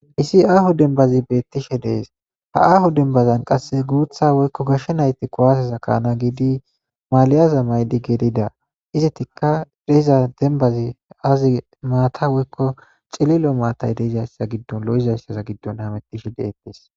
Issi aaho dembazi beettishe dees ha aaho dembazan qasse guutha woykko gashshe nayti kuwaaseza kaana giidi maaliyaza maydi gelida izetikka deiza dembazi azi maata woykko cilillo maatay deeizayssaz giddon lo7izayssaza giddon hamettishe deettees.